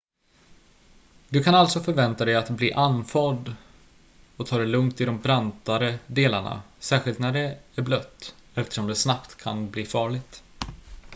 du kan alltså förvänta dig att bli andfådd och ta det lugnt i de brantare delarna särskilt när det är blött eftersom det snabbt kan bli farligt